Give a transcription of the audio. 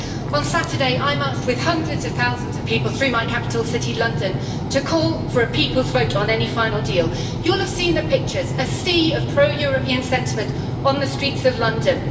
On Saturday, I marched with hundreds of thousands of people through my capital city, London, to call for a people's vote on any final deal. You will have seen the pictures, a sea of pro European sentiment on the streets of London.